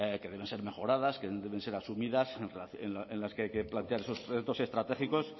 que deben ser mejoradas que deben ser asumidas en las que hay que plantear esos proyectos estratégicos